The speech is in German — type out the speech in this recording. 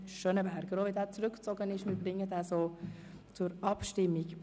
Auch wenn Letzterer zurückgezogen worden ist, bringen wir diesen zur Abstimmung.